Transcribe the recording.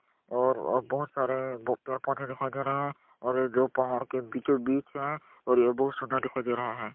और ओ बहोत सारे पेड़-पौधे दिखाई दे रहे है और ये जो पहाड़ के बीचो-बिच है और ये बहुत सुंदर दिखाई दे रहा है।